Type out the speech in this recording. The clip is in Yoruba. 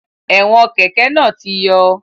Ẹ̀wọn kẹ́kẹ̀ náà ti yọ